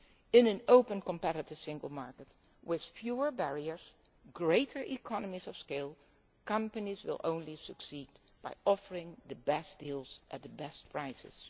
In an open and competitive single market with fewer barriers and greater economies of scale, companies will only succeed by offering the best deals at the best